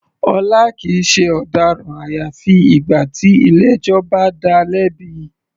Ọlá kìí ṣe ọ̀daràn àyàfi ìgbà tí ilé ẹjọ́ bá dáa lẹ́bi.